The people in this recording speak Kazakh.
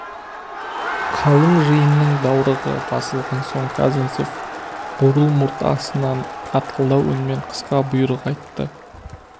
қалың жиынның даурығы басылған соң казанцев бурыл мұрт астынан қатқылдау үнмен қысқа бұйрық айтты